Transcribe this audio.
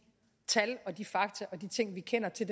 tal og de fakta og de ting vi kender til